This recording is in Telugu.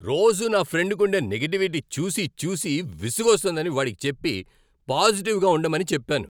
రోజూ నా ఫ్రెండ్కుండే నెగిటివిటి చూసి చూసి విసుగొస్తోందని వాడికి చెప్పి, పాజిటివ్గా ఉండమని చెప్పాను.